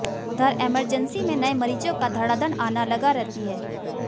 उधर एमरजेंसी में नए मरीजों का धड़ाधड़ आना लगा रहती है